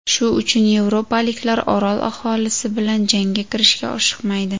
Shu uchun yevropaliklar orol aholisi bilan jangga kirishga oshiqmaydi.